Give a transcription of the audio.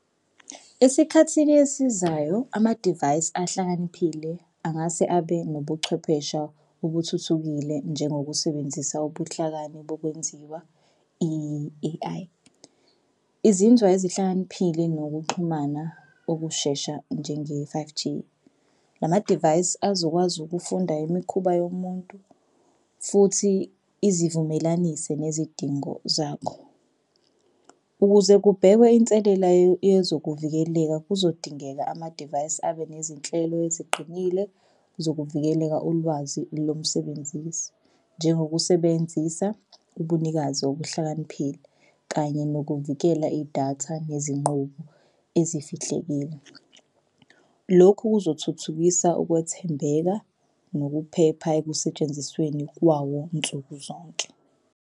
Esikhathini esizayo amadivayisi ahlakaniphile angase abe nobuchwepheshe okuthuthukile njengokusebenzisa ubuhlakani bokwenziwa i-A_I. Izinzwa ezihlakaniphile nokuxhumana okushesha njenge-five G lamadivayisi azokwazi ukufunda imikhuba yomuntu futhi izivumelanise nezidingo zakho. Ukuze kubhekwe inselela yezokuvikeleka kuzodingeka amadivayisi abe nezinhlelo eziqinile zokuvikeleka ulwazi lomsebenzisi njengokusebenzisa ubunikazi okuhlakaniphile kanye nokuvikela idatha nezinqubo ezifihlekile. Lokhu kuzothuthukisa ukwethembeka nokuphepha ekusetshenzisweni kwawo nsuku zonke.